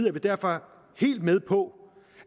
er vi derfor helt med på